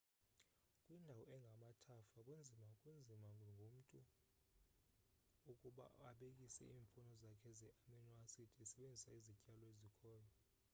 kwindawo engamathafa kunzima kunzima ngomntu ukuba abekise iimfuno zakhe ze-amino-acid esebenzisa izityalo ezikhoyo